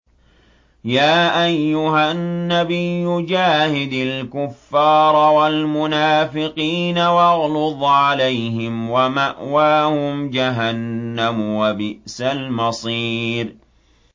يَا أَيُّهَا النَّبِيُّ جَاهِدِ الْكُفَّارَ وَالْمُنَافِقِينَ وَاغْلُظْ عَلَيْهِمْ ۚ وَمَأْوَاهُمْ جَهَنَّمُ ۖ وَبِئْسَ الْمَصِيرُ